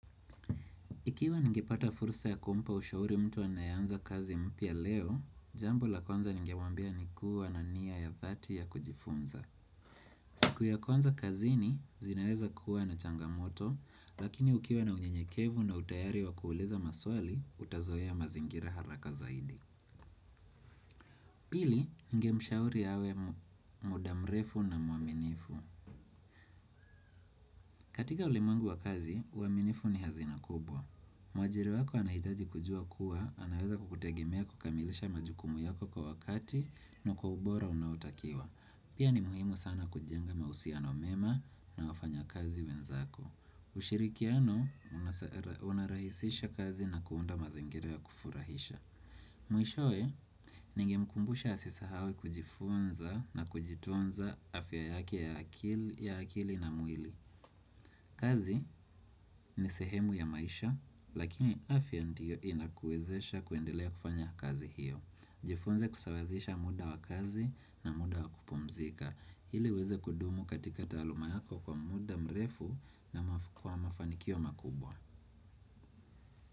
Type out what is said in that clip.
Ikiwa ningepata fursa ya kumpa ushauri mtu anaye anza kazi mpya leo, jambo la kwanza ningemwambia ni kuwa na nia ya dhati ya kujifunza. Siku ya kwanza kazini, zinaweza kuwa na changamoto, lakini ukiwa na unyenyekevu na utayari wa ku kuuliza maswali, utazoa mazingira haraka zaidi. Pili, ningemshauri awe muda mrefu na muaminifu. Katika ulimwengu wa kazi, uaminifu ni hazina kubwa. Mwajiri wako anahitaji kujua kuwa, anaweza kukutegemea kukamilisha majukumu yako kwa wakati na kwa ubora unaotakiwa. Pia ni muhimu sana kujenga mahusiano mema na wafanyakazi wenzako. Ushirikiano unarahisisha kazi na kuunda mazingira ya kufurahisha. Mwishowe, ningemkumbusha asisahau kujifunza na kujitunza afya yake ya akili na mwili. Kazi ni sehemu ya maisha, lakini afya ndiyo inakuwezesha kuendelea kufanya kazi hiyo. Jifunze kusawazisha muda wa kazi na muda wa kupumzika. Ili uweze kudumu katika taaluma yako kwa muda mrefu na kwa mafanikio makubwa.